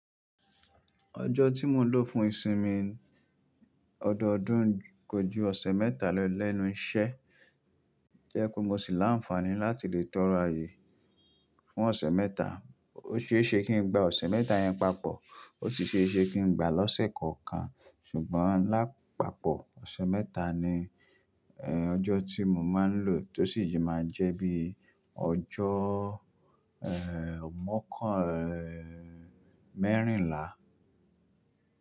Ọjọ́ tí mo ń lò fún ìsinmi ọdọọdún kò ju ọ̀sẹ̀ mẹ́ta lẹ́nu iṣẹ́. To e pé mo sì lá ńfàní láti lè tọrọ ayé fún ọ̀sẹ̀ mẹ́ta. Ó ṣe é ṣe kí ń gba ọ̀sẹ̀ mẹ́ta yẹn papọ̀, ó sì ṣe é ṣe kí ń gbà á lọ́sẹ̀ kọ̀ọ̀kan. Ṣùgbọ́n lápapọ̀ ọ̀sẹ̀ mẹ́ta ni ẹ́, ọjọ́ tí mo máa ń lò tó sì jẹ máa jẹ́ bí ọjọ́ ẹ́, mọ́kàn ẹ́, mẹ́rìnlá.